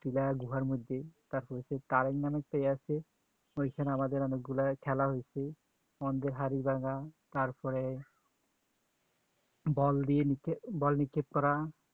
chiller গুহার মধ্যে তারপরে সে কারেন নামে ছেয়ে আছে ঐখানে আমাদের অনেক গুলা খেলা হৈছে হাড়ি ভাঙা তারপরে বল দিয়ে বল নিক্ষেপ করা